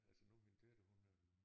Altså nu min datter hun øh